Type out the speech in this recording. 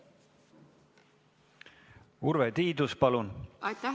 Urve Tiidus, palun!